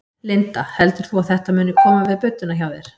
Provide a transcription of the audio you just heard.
Linda: Heldur þú að þetta muni koma við budduna hjá þér?